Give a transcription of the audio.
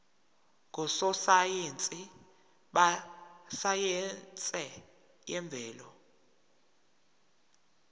ngososayense besayense yemvelo